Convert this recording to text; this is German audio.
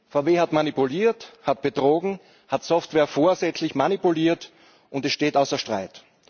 VW hat manipuliert, hat betrogen, hat Software vorsätzlich manipuliert das steht außer Streit.